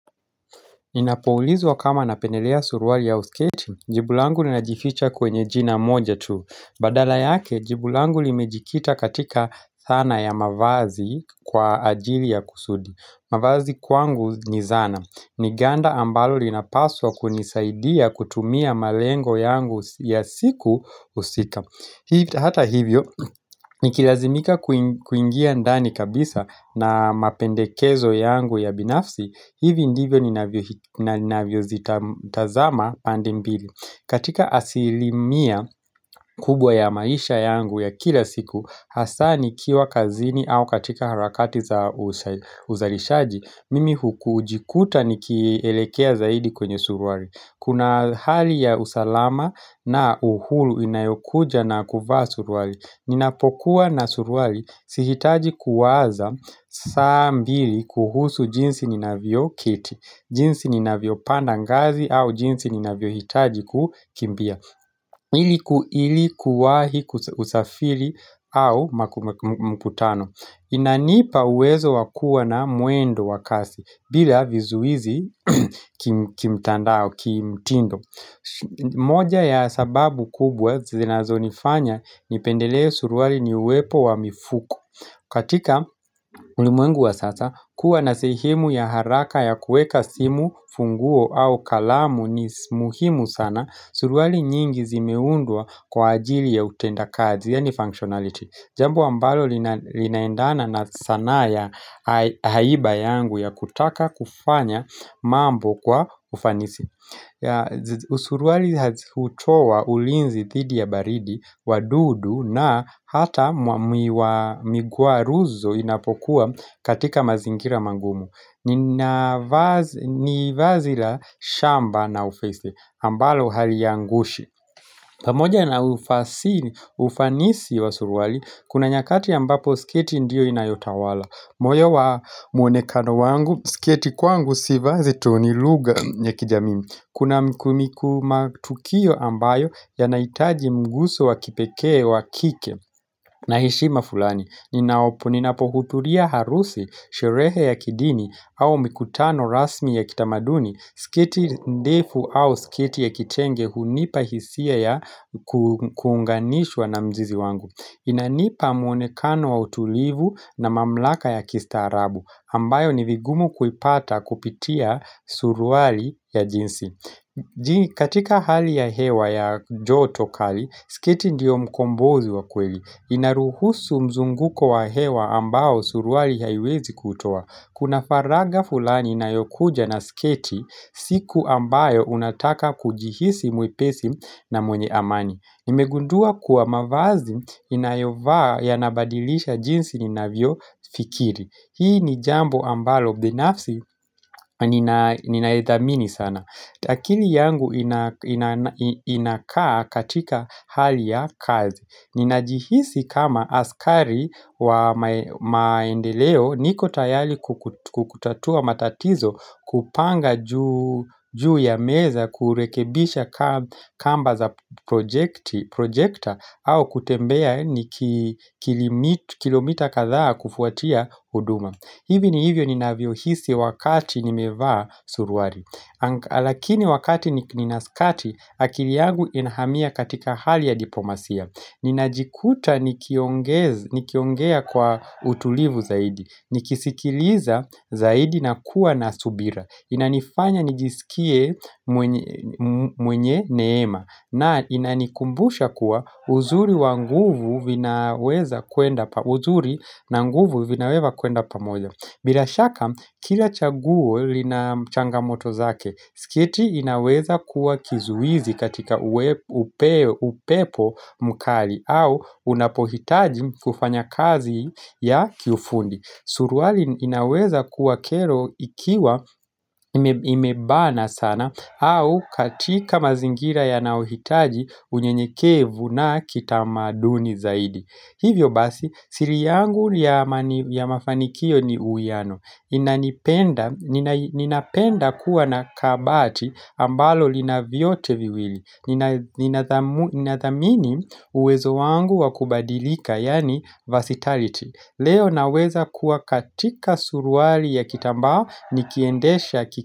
Ninapoulizwa kama napenelea suruali au sketi, jibu langu ninajificha kwenye jina moja tu. Badala yake, jibu langu limejikita katika thana ya mavazi kwa ajili ya kusudi. Mavazi kwangu ni zana. Ni ganda ambalo linapaswa kunisaidia kutumia malengo yangu ya siku husika. Hata hivyo, nikilazimika kuingia ndani kabisa na mapendekezo yangu ya binafsi, hivi ndivyo ninavyo zitazama pande mbili katika asilimia kubwa ya maisha yangu ya kila siku hasa nikiwa kazini au katika harakati za uzalishaji mimi huku ujikuta nikielekea zaidi kwenye suruali kuna hali ya usalama na uhulu inayokuja na kuvaa suruali ninapokuwa na suruali Sihitaji kuwaza saa mbili kuhusu jinsi ninavyo kiti jinsi ninavyopanda ngazi au jinsi ninavyohitaji kukimbia ili kuwahi kusafiri au makumkutano Inanipa uwezo wa kua na mwendo wa kasi bila vizuizi kimtandao, kimtindo moja ya sababu kubwa zinazonifanya Nipendele suruali ni uwepo wa mifuko katika ulimwengu wa sasa kuwa na sehemu ya haraka ya kuweka simu, funguo au kalamu ni muhimu sana Suruali nyingi zimeundwa kwa ajili ya utenda kazi yani functionality Jambo ambalo linaendana na sana ya haiba yangu ya kutaka kufanya mambo kwa ufanisi Usuruali hati utoa ulinzi dhidi ya baridi, wadudu na hata miguaruzo inapokuwa katika mazingira magumu ni vazi la shamba na ufeze, ambalo haliangushi pamoja na ufanisi wa suruali, kuna nyakati ambapo sketi ndio inayotawala moyo wa mwonekano wangu, sketi kwangu sivazi tu ni lugha ya kijamii Kuna mkumiku matukio ambayo yanaitaji mgusu wa kipeke wa kike Naheshima fulani Ninaopo ninapohudhria harusi, sherehe ya kidini au mikutano rasmi ya kitamaduni sketi ndefu au sketi ya kitenge hunipa hisia ya kuunganishwa na mzizi wangu Inanipa mwonekano wa utulivu na mamlaka ya kistaarabu ambayo ni vigumu kuipata kupitia suruali ya jinsi Je katika hali ya hewa ya joto kali, sketi ndiyo mkombozi wa kweli inaruhusu mzunguko wa hewa ambao suruali haiwezi kutowa Kuna faragha fulani inayokuja na sketi siku ambayo unataka kujihisi mwepesi na mwenye amani nimegundua kuwa mavazi inayovaa yanabadilisha jinsi ninavyofikiri Hii ni jambo ambalo, binafsi ninaedhamini sana akili yangu inakaa katika hali ya kazi. Ninajihisi kama askari wa maendeleo niko tayali kukutatua matatizo kupanga juu ya meza kurekebisha kamba za projekta au kutembea kilomita kadhaa kufuatia uduma. Hivi ni hivyo ninavyohisi wakati nimevaa suruali Lakini wakati nina skati akili yangu inahamia katika hali ya diplomasia Ninajikuta nikiongea kwa utulivu zaidi nikisikiliza zaidi na kuwa na subira Inanifanya nijisikie mwenye neema na inanikumbusha kuwa uzuri na nguvu vinaweza kwenda pamoja bila shaka kila chaguo linachangamoto zake sketi inaweza kuwa kizuizi katika upepo mkali au unapohitaji kufanya kazi ya kiundi Suruali inaweza kuwa kero ikiwa imebana sana au katika mazingira yanaohitaji unye mnyekevu na kitamaduni zaidi. Hivyo basi, siri yangu ya mafanikio ni uiano. Ninapenda kuwa na kabati ambalo linavyote viwili. Ninathamini uwezo wangu wa kubadilika, yani versatility. Leo naweza kuwa katika suruali ya kitambaa nikiendesha ki.